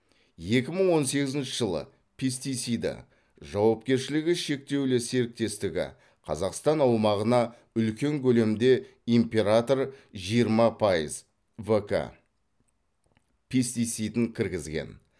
екі мың он сегізінші жылы пестициды жауапкершілігі шектеулі серіктестігі қазақстан аумағына үлкен көлемде император жиырма пайыз в к пестицидін кіргізген